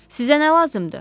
Sizə nə lazımdır?